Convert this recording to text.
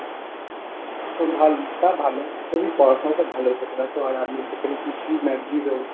তোর ভাল~ তা ভালো। তবু পড়াশোনাটা ভালো হয়েছে তো দেখো আর আমি সেখানে কিছুই না zero।